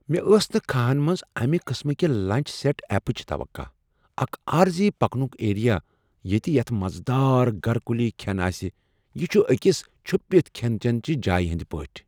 مےٚ ٲس نہٕ كھاہن منٛز امہ قٕسمٕکہِ لنچ سیٹ اپٕچ توقع، اکھ عارضی پکنک ایریا ییٚتہ یتھ مزٕ دار گھر کُلی کھین آسہ، یہ چھ أکس چھپتھ کھین چٮ۪ن چہ جایہ ہنٛدۍ پٲٹھہِ!